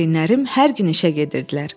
Valideynlərim hər gün işə gedirdilər.